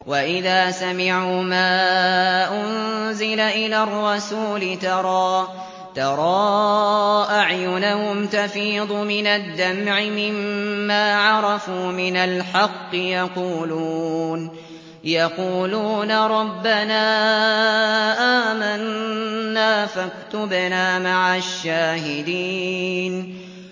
وَإِذَا سَمِعُوا مَا أُنزِلَ إِلَى الرَّسُولِ تَرَىٰ أَعْيُنَهُمْ تَفِيضُ مِنَ الدَّمْعِ مِمَّا عَرَفُوا مِنَ الْحَقِّ ۖ يَقُولُونَ رَبَّنَا آمَنَّا فَاكْتُبْنَا مَعَ الشَّاهِدِينَ